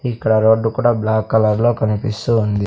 ఇక్కడ రోడ్డు కూడా black colour లో కనిపిస్తూ ఉంది.